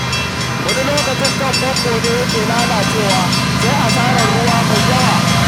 Wani lokacin kan famfon ne yake lalacewa, amma sai a yi asarar ruwa mai yawa.